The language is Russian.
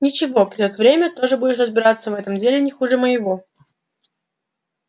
ничего придёт время тоже будешь разбираться в этом деле не хуже моего